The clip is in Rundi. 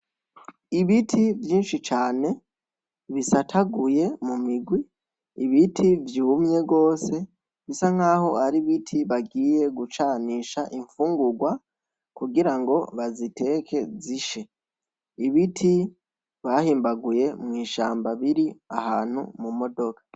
Ibiti vyinshi cane bisataguye mu migwi, ibiti vyumye gose bisa nkaho ari ibiti bagiye gucanisha infungurwa kugira ngo baziteke zishe. Ibiti bahimbaguye mw'ishamba biri ahantu mu modoka.